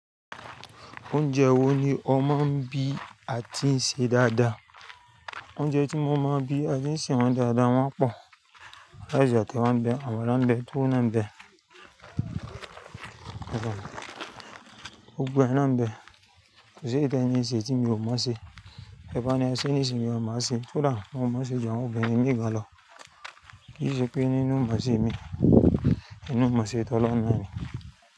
Oúnjẹ wo ni ó mọ ń bí àti ń ṣe dáadáa? Oúnjẹ tí mo máa ń bí àti ń ṣe wọ́n dáadáa wọ́n pọ̀. Ráìsì àti ẹ̀wà ń bẹ, àmàlà ń bẹ, túwó náà ń bẹ, gbogbo ẹ̀ náà ń bẹ. Kò seyi tẹ́ní ìṣẹ́ tí mi ò mọ́ ṣe. Teba ni ẹ sẹ́, ní sìn mò má ṣe, tó dà, mo mọ sé ju àwọn obìnrin mi gan lọ. Kì í ṣe pé nínú imán ṣe mi, inú iman ṣe tọ́loun náà ni.